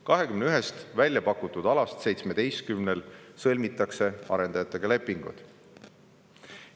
21-st välja pakutud alast 17 puhul sõlmitakse arendajatega lepinguid.